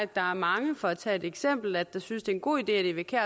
der er mange for at tage et eksempel der synes det er en god idé at eva kjer